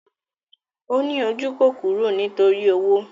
Ó ní ojúkòkòrò nítorí owó